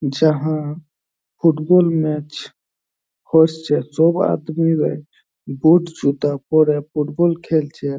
যাহা football match হচ্ছে। যো আদমিরা বুট জুতা পরে ফুটবল খেলছে।